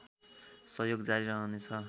सहयोग जारी रहनेछ